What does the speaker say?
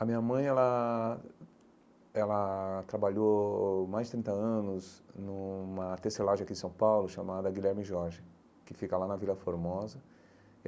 A minha mãe ela ela trabalhou mais de trinta anos numa tecelagem aqui em São Paulo chamada Guilherme Jorge, que fica lá na Vila Formosa.